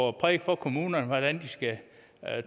og præke for kommunerne hvordan de skal